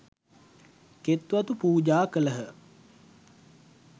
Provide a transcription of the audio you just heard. කෙත්වතු පූජා කළහ.